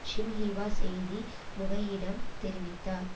Xinhua செய்தி முகையிடம் தெரிவித்தார்